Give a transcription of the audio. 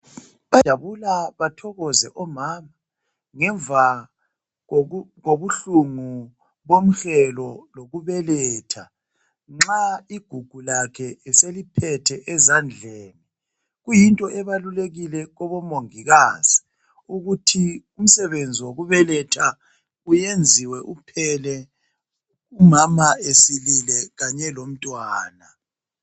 Bayajabula bathokoze omama ngemva kobu kobubuhlungu bomhelo wokubeletha nxa igugu lakhe eseliphethe ezandleni kuyinto ebalulekile kubomongikazi ukuthi umsebenzi wokubeletha uyenziwe uphele umama ezilile kanye lomntwana.